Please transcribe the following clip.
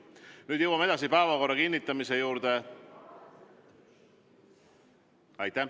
Nüüd jõuame päevakorra kinnitamise juurde.